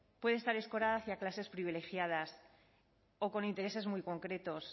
puede estar escorada hacia clases privilegiadas o con intereses muy concretos